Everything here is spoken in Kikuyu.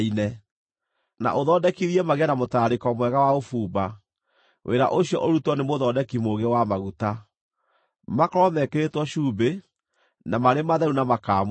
na ũthondekithie magĩe na mũtararĩko mwega wa ũbumba; wĩra ũcio ũrutwo nĩ mũthondeki mũũgĩ wa maguta. Makorwo mekĩrĩtwo cumbĩ, na marĩ matheru na makaamũrwo.